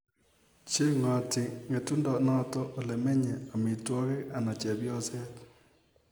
Chengati ngetundo notok ole menye, amitwokik ana chepyoset